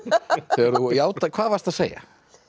þegar þú hvað varstu að segja